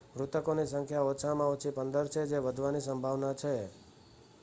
મૃતકોની સંખ્યા ઓછામાં ઓછી 15 છે જે વધવાની સંભાવના છે